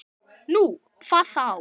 Nú, hvað þá?